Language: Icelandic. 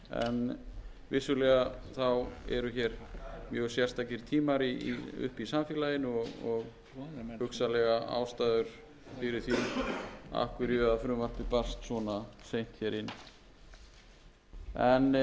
en vissulega þá eru hér mjög sérstakir tímar uppi í samfélaginu og hugsanlegar ástæður fyrir því af hverju frumvarpið barst svona seint hér inn en eins og ég segi